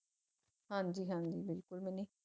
ਹਾਂਜੀ ਹਾਂਜੀ ਬਿਲਕੁਲ ਮਿੰਨੀ